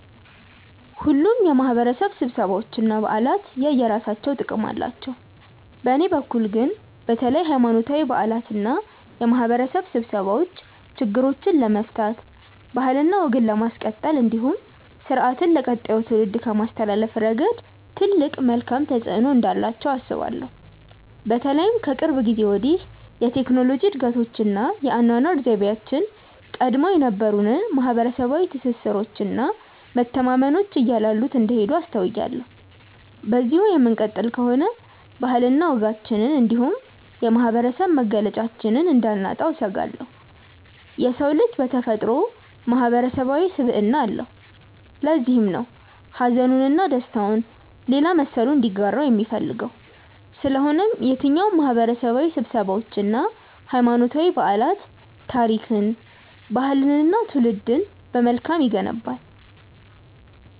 ሁሉም የማህበረሰብ ስብሰባዎች እና በዓላት የየራሳቸው ጥቅም አላቸው። በእኔ በኩል ግን በተለይ ሀይማኖታዊ በዓላት እና የማህበረሰብ ስብሰባዎች ችግሮችን ለመፍታት ባህልና ወግን ለማስቀጠል እንዲሁም ስርአትን ለቀጣዩ ትውልድ ከማስተላለፍ ረገድ ትልቅ መልካም ተፆዕኖ እንዳላቸው አስባለሁ። በተለይም ከቅርብ ጊዜ ወዲህ የቴክኖሎጂ እድገቶች እና የአኗኗር ዘይቤያችን ቀድሞ የነበሩንን ማህበረሰባዊ ትስስሮች እና መተማመኖች እያላሉት እንደሄዱ አስተውያለሁ። በዚሁ የምንቀጥል ከሆነ ባህልና ወጋችንን እንዲሁም የማህበረሰብ መገለጫችንን እንዳናጣው እሰጋለሁ። የሰው ልጅ በተፈጥሮው ማህበረሰባዊ ስብዕና አለው። ለዚህም ነው ሀዘኑን እና ደስታውን ሌላ መሰሉ እንዲጋራው የሚፈልገው። ስለሆነም የትኛውም ማህበረሰባዊ ስብሰባዎች እና ሀይማኖታዊ በዓላት ታሪክን፣ ባህልንን እና ትውልድን በመልካም ይገነባል።